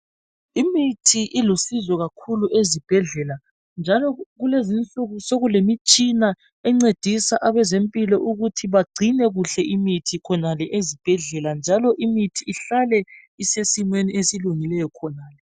Imithi ilusizo kakhulu ezibhedlela njalo kulezinsuku sekulemitshina encedisa abezempilo ukuthi begcine kuhle imithi khonale ezibhedlela njalo imithi ihlale isesimeni esilungileyo khonale.